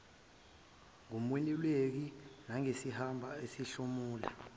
ngumeluleki nangesamba ayosihlomula